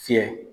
Fiyɛ